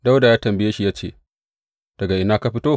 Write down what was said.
Dawuda ya tambaye shi ya ce, Daga ina ka fito?